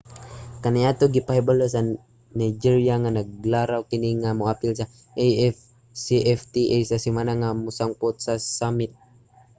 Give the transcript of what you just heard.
kaniadto gipahibalo sa nigeria nga naglaraw kini nga moapil sa afcfta sa semana nga mosangput sa summit